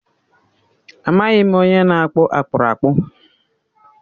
Amaghị m onye na-akpụ akpụrakpụ.